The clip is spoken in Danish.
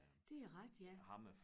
Det rigtigt ja